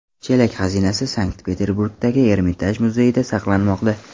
Chelak xazinasi Sankt-Peterburgdagi Ermitaj muzeyida saqlanmoqda.